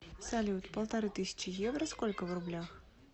салют полторы тысячи евро сколько в рублях